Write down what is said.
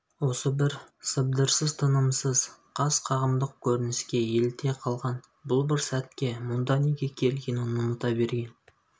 осы бір сыбдырсыз тынымсыз қас-қағымдық көрініске еліте қалған бұл бір сәтке мұнда неге келгенін ұмыта берген